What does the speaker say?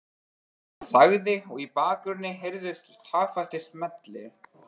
Hann þagði og í bakgrunni heyrðust taktfastir smellir.